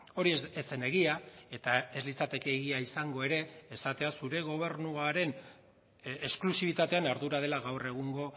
hori ez zen egia eta ez litzateke egia izango ere esatea zure gobernuaren esklusibitatean ardura dela gaur egungo